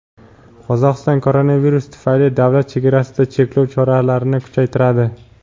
Qozog‘iston koronavirus tufayli davlat chegarasida cheklov choralarini kuchaytiradi.